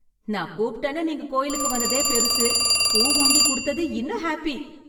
நான் கூப்பிட்டேன்னு நீங்க கோயிலுக்கு வந்ததே பெருசு, பூ வாங்கி குடுத்தது இன்னும் ஹேப்பி.